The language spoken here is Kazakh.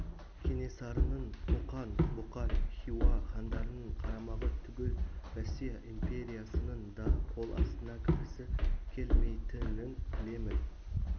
кенесарының қоқан бұқар хиуа хандарының қарамағы түгіл россия империясының да қол астына кіргісі келмейтінін білемін